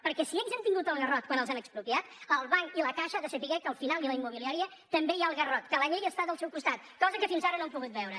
perquè si ells han tingut el garrot quan els han expro·piat el banc i la caixa han de saber que al final i la immobiliària també hi ha el garrot que la llei està del seu costat cosa que fins ara no han pogut veure